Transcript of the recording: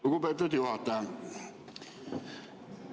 Lugupeetud juhataja!